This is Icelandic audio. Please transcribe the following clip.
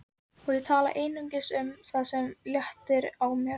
Og ég tala einungis um það sem léttir á mér.